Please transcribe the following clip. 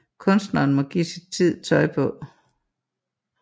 Kunstneren må give sin tid tøj på